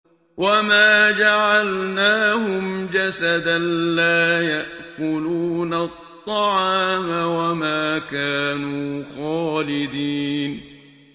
وَمَا جَعَلْنَاهُمْ جَسَدًا لَّا يَأْكُلُونَ الطَّعَامَ وَمَا كَانُوا خَالِدِينَ